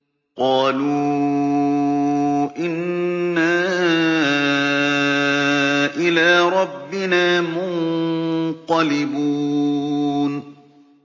قَالُوا إِنَّا إِلَىٰ رَبِّنَا مُنقَلِبُونَ